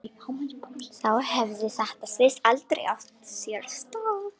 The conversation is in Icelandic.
Þá hefði þetta slys aldrei átt sér stað.